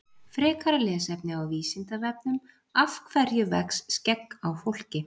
Frekara lesefni á Vísindavefnum Af hverju vex skegg á fólki?